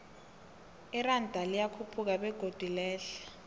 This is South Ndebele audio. iranda liyakhuphuka begodu lehle